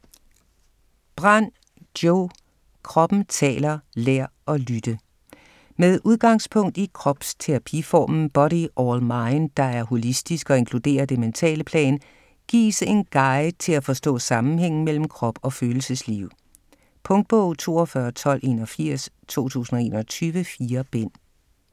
Brand, Jo: Kroppen taler: lær at lytte Med udgangspunkt i kropsterapiformen Body All Mind, der er holistisk og inkluderer det mentale plan, gives en guide til at forstå sammenhængen mellem krop og følelsesliv. Punktbog 421281 2021. 4 bind.